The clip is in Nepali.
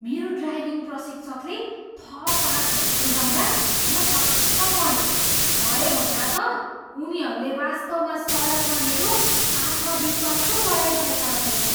मेरो ड्राइभिङ प्रशिक्षकले थप पाठहरू सुझाउँदा म छक्क परेँ। भरे भन्दा त उनीहरूले वास्तवमा सडकमा मेरो आत्मविश्वास पो बढाइरहेका रहेछन्।